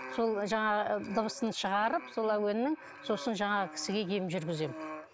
сол жаңағы дыбысын шығарып сол әуеннің сосын жаңағы кісіге ем жүргіземін